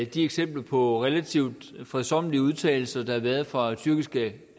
de eksempler på relativt fredsommelige udtalelser der har været fra tyrkiske